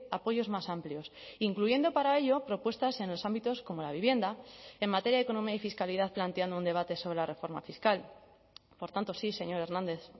apoyos más amplios incluyendo para ello propuestas en los ámbitos como la vivienda en materia de economíay fiscalidad planteando un debate sobre la reforma fiscal por tanto sí señor hernández